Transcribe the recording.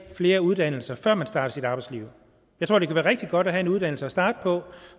flere uddannelser før man starter sit arbejdsliv jeg tror det kan være rigtig godt at have en uddannelse at starte på og